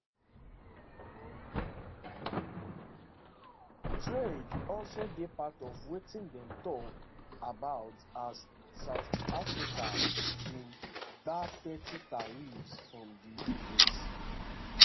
trade also dey part of wetin dem tok about as south africa bin gbab thirty tariffs from di us